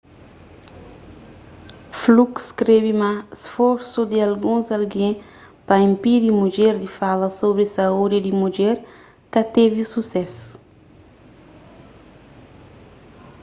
fluke skrebe ma sforsu di alguns algen pa inpidi mudjer di fala sobri saúdi di mudjer ka tevi susésu